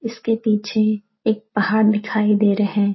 इसके पीछे एक पहाड़ दिखाई दे रहे।